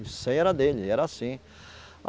Isso aí era dele, era assim.